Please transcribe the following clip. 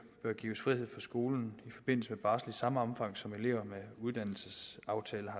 bør gives frihed fra skolen i forbindelse med barsel i samme omfang som elever med uddannelsesaftaler